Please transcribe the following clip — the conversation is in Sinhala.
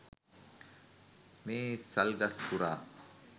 මේ සල් ගස් පුරා